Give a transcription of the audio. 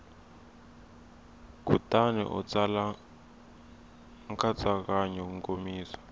kutani u tsala nkatsakanyo nkomiso